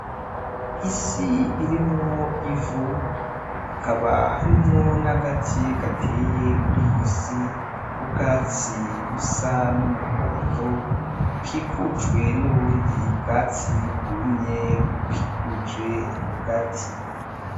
Isi irimwo ivu hakaba harimwo n'agati gateye muriyo si k'ubwatsi busa n'umuhondo bukikujwe nubundi bwatsi bwumye bukikuje ako gati .